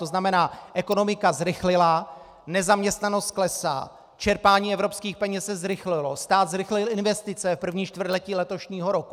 To znamená, ekonomika zrychlila, nezaměstnanost klesá, čerpání evropských peněz se zrychlilo, stát zrychlil investice v 1. čtvrtletí letošního roku.